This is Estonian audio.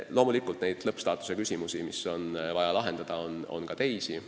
Loomulikult neid lõppstaatuse küsimusi, mis on vaja lahendada, on ka teisi.